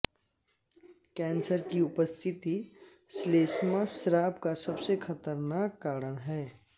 cancer की उपस्थिति श्लेष्मा स्राव का सबसे खतरनाक कारण है